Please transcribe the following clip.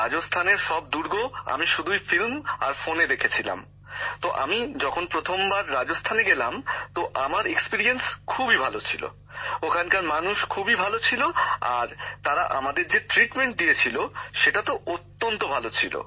রাজস্থানের সব দুর্গ আমি শুধুই সিনেমা আর ফোনে দেখেছিলাম তো আমি যখন প্রথমবার রাজস্থানে গেলাম তো আমার অভিজ্ঞতা খুবই ভালো ছিল ওখানকার মানুষ খুবই ভাল ছিলেন আর তারা আমাদের যেভাবে আপ্যায়ন করেছিলেন তা খুবই ভালো ছিল